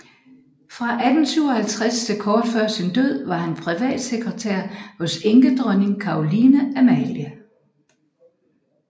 Fra 1857 til kort før sin død var han privatsekretær hos enkedronning Caroline Amalie